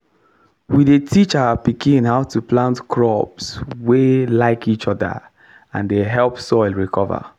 we dey teach our pikin how to plant crops wey like each other and dey help soil recover.